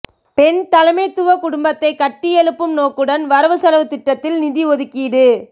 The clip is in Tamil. பெண் தலைமைத்துவ குடும்பத்தை கட்டி எழுப்பும் நோக்குடன் வரவு செலவுத்திட்டத்தில் நிதி ஒதுக்கீடு